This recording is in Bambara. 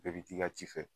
Bɛɛ bi t'i ka ci fɛ